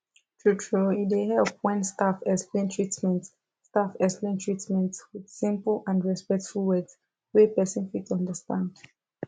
truetrue e dey help when staff explain treatment staff explain treatment with simple and respectful words wey person fit understand